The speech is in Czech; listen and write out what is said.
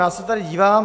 Já se tady dívám.